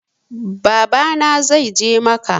Baba na zai je macca